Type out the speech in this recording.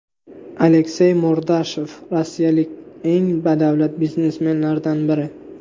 Aleksey Mordashov rossiyalik eng badavlat biznesmenlardan biri.